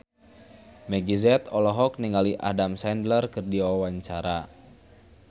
Meggie Z olohok ningali Adam Sandler keur diwawancara